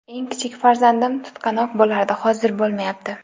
Eng kichik farzandim tutqanoq bo‘lardi, hozir bo‘lmayapti.